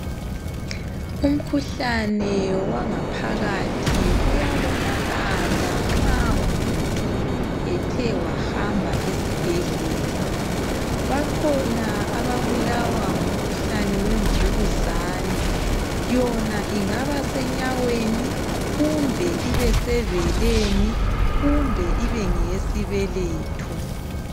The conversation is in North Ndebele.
Umkhuhlane wangaphakathi uyabonakala nxa umuntu ethe wahamba esibhedlela .Bakhona ababulawa ngumkhuhlane wemvukuzane .Yona ingaba senyaweni ,ibesebeleni kumbe ibe ngeyesibeletho